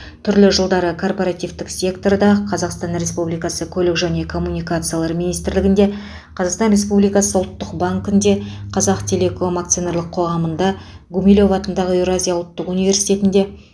түрлі жылдары корпоративтік секторда қазақстан республикасы көлік және коммуникациялар министрлігінде қазақстан республикасы ұлттық банкінде қазақтелеком акционерлік қоғамында гумилев атындағы еуразия ұлттық университетінде